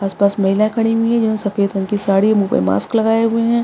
आसपास महिलाएं खड़ी हुई है जिन्होंने सफेद रंग की साड़ी मुह पे मास्क लगाये हुए है।